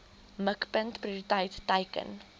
mikpunt prioriteit teiken